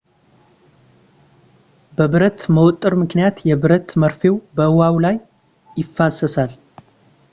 በብረት መወጠር ምክንያት የብረት መርፌው በውሃው ላይ ይንሳፈፋል